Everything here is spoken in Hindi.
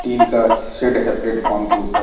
तीन का शेड है प्लेटफार्म के ऊपर --